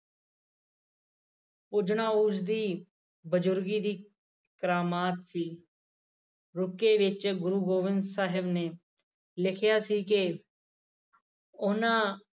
ਉਂਝ ਤਾਂ ਉਸਦੀ ਬਜੁਰਗੀ ਦੀ ਕਰਾਮਾਤ ਸੀ ਰੁਕ ਕੇ ਵਿਚ ਗੁਰੂ ਗੋਬਿੰਦ ਸਾਹਿਬ ਨੇ ਲਿਖਿਆ ਸੀ ਕਿ ਉਹਨਾਂ